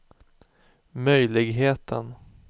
möjligheten